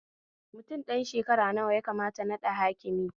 Mutum ɗan shekara nawa yakamata naɗa hakimi?